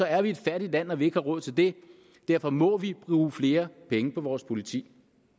er et fattigt land når vi ikke har råd til det derfor må vi bruge flere penge på vores politi